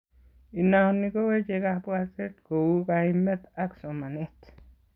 Inoni koweche kabwatet kouu kaimet ab somanet